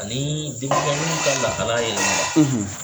Ani denmisɛnniw ka lahala